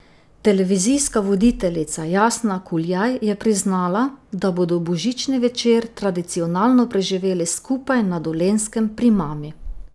Televizijska voditeljica Jasna Kuljaj je priznala, da bodo božični večer tradicionalno preživeli skupaj na Dolenjskem pri mami.